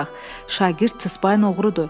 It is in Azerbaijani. Şagird Tıspay oğrudur.